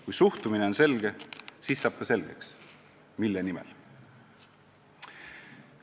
Kui suhtumine on selge, siis saab ka selgeks, mille nimel.